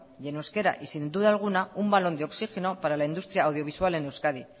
y en euskera y sin duda alguna un balón de oxigeno para la industria audiovisual en euskadi